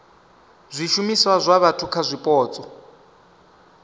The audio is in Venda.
zwishumiswa zwa vhathu kha zwipotso